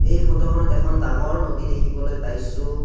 এই ফটোখনত এখন ডাঙৰ নদী দেখিবলৈ পাইছোঁ।